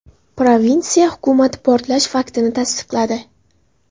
Provinsiya hukumati portlash faktini tasdiqladi.